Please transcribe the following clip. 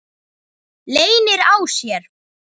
Leynir á sér!